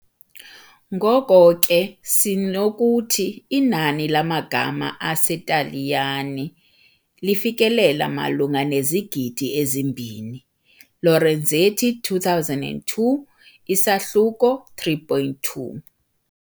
Ngoko ke sinokuthi inani lamagama aseTaliyane lifikelela malunga nezigidi ezi-2, Lorenzetti 2002, isahluko 3.2.